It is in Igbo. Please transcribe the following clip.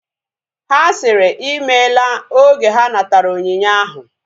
Ha sịrị ịmela oge ha natara onyinye ahu